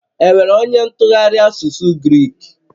Enwere onye ntụgharị asụsụ Grik?